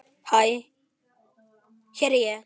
Hæ hér er ég.